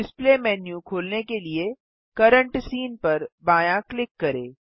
display menu खोलने के लिए करेंट सीन पर बायाँ क्लिक करें